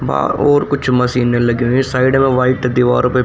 बाहर और कुछ मशीनें लगी हुईं साइड में व्हाइट दीवार पे--